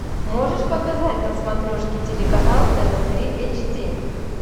можешь показать на смотрешке телеканал тв три эйч ди